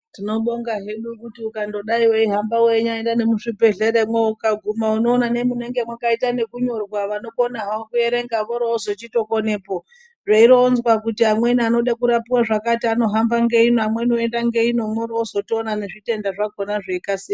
Tinobonga hedu kuti ukanyadai weihamba weinyaenda nemuzvibhedhlera ukaguma unoona makaita ekunyorwa vanokona havo kuerenga voozochikonepo zveironzwa kuti amweni anoda kurapiwa zvakati anohamba ngeino amweni oenda ngeino mworoozotoona nezvitenda zvakhona zveikasira...